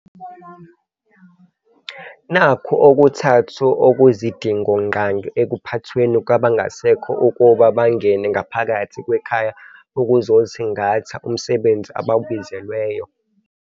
Nakhu okuthathu okuyizidingo-ngqangi ekuphathweni kwabangasekho ukuba bangene ngaphakathi kwekhaya ukuzosingatha umsebenzi abawubizelweyo.